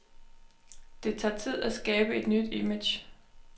Det tager tid at skabe et nyt image.